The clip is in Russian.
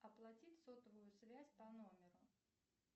оплатить сотовую связь по номеру